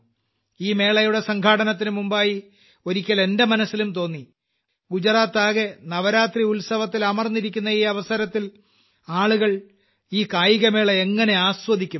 ഈ മേളയുടെ സംഘാടനത്തിനുമുമ്പായി ഒരിക്കൽ എന്റെ മനസ്സിലും തോന്നി ഗുജറാത്താകെ നവരാത്രി ഉത്സവത്തിലമർന്നിരിക്കുന്ന ഈ അവസരത്തിൽ ആളുകൾ ഈ കായികമേള എങ്ങനെ ആസ്വദിക്കും എന്ന്